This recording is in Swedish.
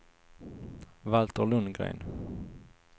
Valter Lundgren